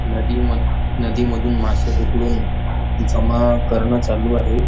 नदीमध नदीमधून मासे पकडून जमा करणं चालू आहे.